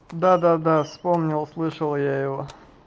да да да вспомнил слышал я его